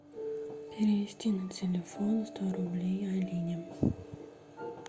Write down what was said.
перевести на телефон сто рублей алине